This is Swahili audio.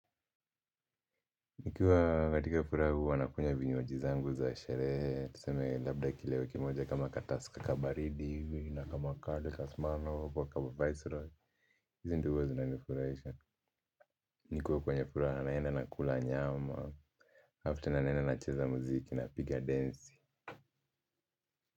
Nikiwa katika furaha huwa nakunya vinywaji zangu za sherehe tuseme labda kilewe kimoja kama kataska kabaridi na kama kali ka smirnoff au kama viceroy hizi ndo huwa zinanifurahisha nikuwa kwenye furaha naenda nakula nyama after na naenda nacheza muziki napiga densi.